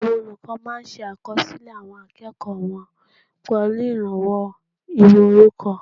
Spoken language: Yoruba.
Àwọn olùkọ́ máa ṣe àkọsílẹ̀ àwọn akẹ́kọ̀ọ́ wọn pẹ̀lú ìrànwọ́ ìwé orúkọ